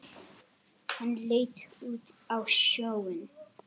Hann leit út á sjóinn.